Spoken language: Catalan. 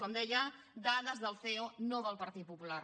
com deia dades del ceo no del partit popular